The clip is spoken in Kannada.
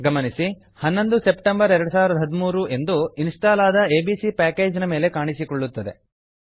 ಗಮನಿಸಿ 11 ಸೆಪ್ಟೆಂಬರ್ 2013 ಎಂದು ಇನ್ಸ್ಟಾಲ್ ಆದ ಎ ಬಿ ಸಿ ಪ್ಯಾಕೇಜ್ ಮೇಲೆ ಕಾಣಿಸಿಕೊಳ್ಳುತ್ತದೆ